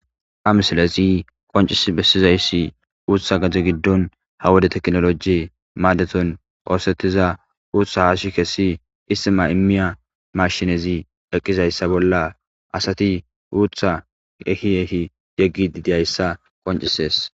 Ha misilezi qonccissi bessizayssi uuththa gade giddon ha wode teknooloojeen maadethon ooseththiza uuththa haashi kessi ithima immiya maashinezi eqqizayssa bolla asathi uuththaa ehi ehi yeggiiddi diya isa qonccissees.